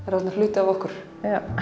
eru orðnir hluti af okkur